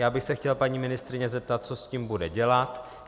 Já bych se chtěl paní ministryně zeptat, co s tím bude dělat.